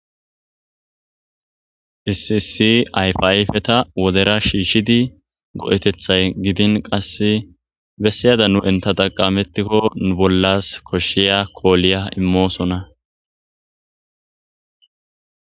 Issi issi ayfa ayfeta wodera shiishidi go7eteththay gidin qasse bessiyadan entta xaqametikko nu bollas koshiya kooliya immosona.